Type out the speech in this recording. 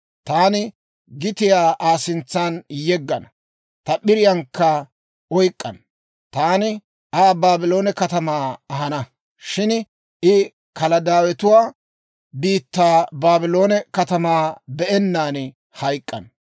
Taani gitiyaa Aa sintsan yeggana ta p'iriyaankka oyk'k'ana. Taani Aa Baabloone katamaa ahana; shin I Kaladaawetuwaa biittaa Baabloone katamaa be'ennaan hayk'k'ana.